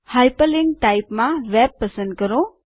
hyperlink type માં web પસંદ કરો